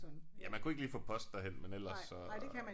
Ja man kunne ikke lige få post derhen men ellers så